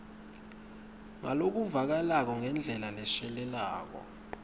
ngalokuvakalako ngendlela leshelelako